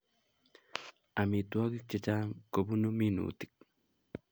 Amitwogik chechang kobunu minutik